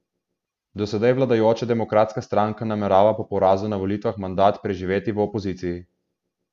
Do sedaj vladajoča Demokratska stranka namerava po porazu na volitvah mandat preživeti v opoziciji.